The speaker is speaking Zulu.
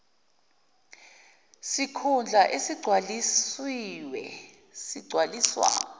sikhundla esigcwalisiwe sigcwaliswa